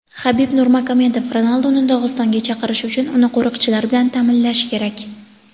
Habib Nurmagomedov: Ronalduni Dog‘istonga chaqirish uchun uni qo‘riqchilar bilan ta’minlash kerak.